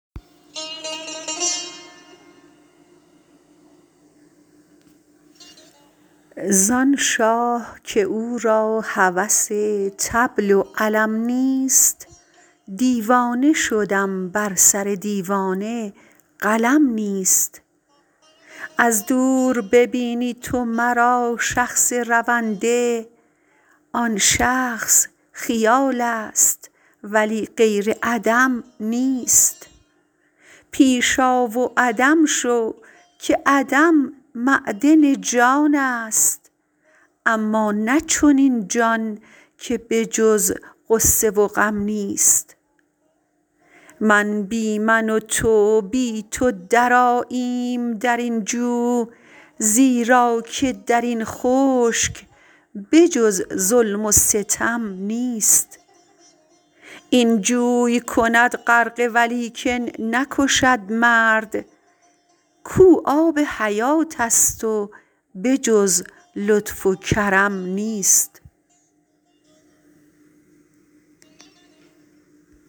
زان شاه که او را هوس طبل و علم نیست دیوانه شدم بر سر دیوانه قلم نیست از دور ببینی تو مرا شخص رونده آن شخص خیالست ولی غیر عدم نیست پیش آ و عدم شو که عدم معدن جانست اما نه چنین جان که به جز غصه و غم نیست من بی من و تو بی تو درآییم در این جو زیرا که در این خشک به جز ظلم و ستم نیست این جوی کند غرقه ولیکن نکشد مرد کو آب حیاتست و به جز لطف و کرم نیست